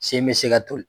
Sen bɛ se ka toli